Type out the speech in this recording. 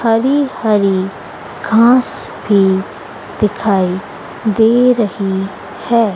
हरी हरी घास भी दिखाई दे रही है।